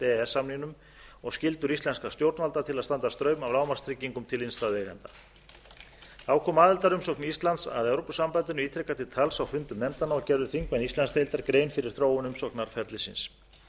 samningnum og skyldur íslenskra stjórnvalda til að standa straum af lágmarkstryggingum til innstæðueigenda þá kom aðildarumsókn íslands að evrópusambandinu ítrekað til tals á fundum nefndanna og gerðu þingmenn íslandsdeildar grein fyrir þróun umsóknarferlisins